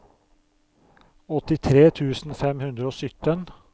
åttitre tusen fem hundre og sytten